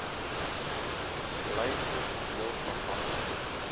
bly grotendeels afhanklik